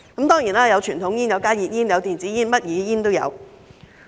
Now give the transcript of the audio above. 當然，有傳統煙、加熱煙、電子煙，甚麼煙都有。